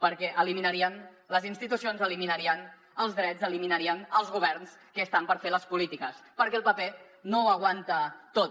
perquè eliminarien les institucions eliminarien els drets eliminarien els governs que estan per fer les polítiques perquè el paper no ho aguanta tot